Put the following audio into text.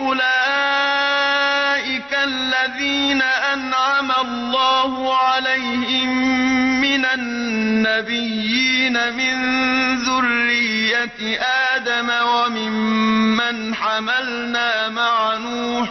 أُولَٰئِكَ الَّذِينَ أَنْعَمَ اللَّهُ عَلَيْهِم مِّنَ النَّبِيِّينَ مِن ذُرِّيَّةِ آدَمَ وَمِمَّنْ حَمَلْنَا مَعَ نُوحٍ